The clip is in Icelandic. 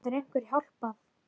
Getur einhver hjálpað?